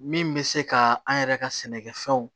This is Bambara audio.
Min bɛ se ka an yɛrɛ ka sɛnɛkɛfɛnw